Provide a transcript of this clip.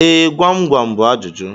Ee, gwam gwam bú ajụjụ